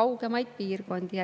kaugemaid piirkondi.